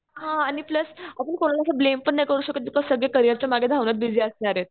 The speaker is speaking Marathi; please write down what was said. हा आणि प्लस आपण कुणाला असं ब्लेम पण नाही करू शकत. बिकॉज सगळे करियरच्या मागे धावण्यात बीजी असणार आहेत